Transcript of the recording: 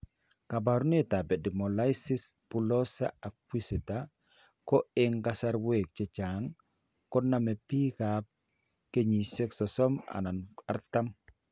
Kaabarunetap Epidermolysis bullosa acquisita ko eng' kasarwek chechang' konome biikap kenyisiek 30 anan 40.